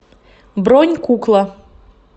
бронь кукла